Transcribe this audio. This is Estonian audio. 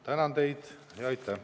Tänan teid!